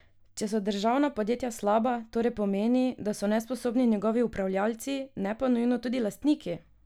Če so državna podjetja slaba, torej pomeni, da so nesposobni njegovi upravljalci, ne pa nujno tudi lastniki!